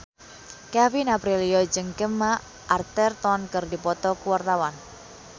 Kevin Aprilio jeung Gemma Arterton keur dipoto ku wartawan